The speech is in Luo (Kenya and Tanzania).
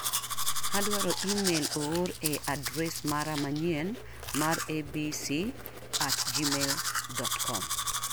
Adwaro imel oor e adres mara manyien mar abc@gmailcom